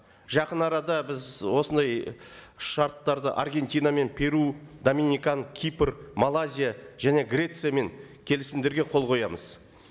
жақын арада біз осындай шарттарды аргентинамен перу доминикана кипр малайзия және грециямен келісімдерге қол қоямыз